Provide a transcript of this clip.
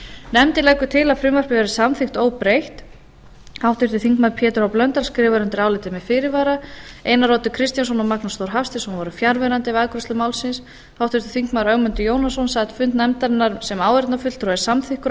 nefndin leggur til að frumvarpið verði samþykkt óbreytt háttvirtur þingmaður pétur h blöndal skrifar undir álitið með fyrirvara einar oddur kristjánsson og magnús þór hafsteinsson voru fjarverandi við afgreiðslu málsins háttvirtur þingmaður ögmundur jónasson sat fundi nefndarinnar sem áheyrnarfulltrúi og er samþykkur